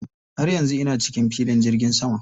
Har yanzu ina cikin filin jirgin sama.